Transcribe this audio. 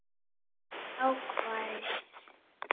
Þetta er hávær